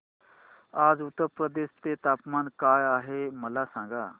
आज उत्तर प्रदेश चे तापमान काय आहे मला सांगा